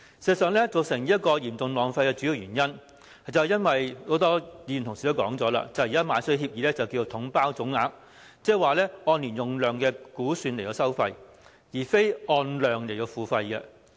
事實上，造成這種嚴重浪費的主要原因，正如很多議員同事也提到，現時購買東江水的協議是採用"統包總額"方式，即是說按年用量估算來收費，而非按量來付費。